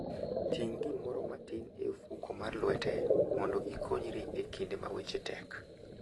Ting' gimoro matin e ofuko mar lwete mondo ikonyri e kinde ma weche tek.